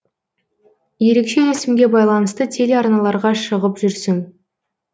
ерекше есімге байланысты телеарналарға шығып жүрсің